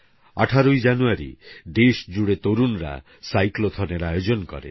১৮ জানুয়ারি দেশজুড়ে তরুণরা সাইক্লোথনএর আয়োজন করেন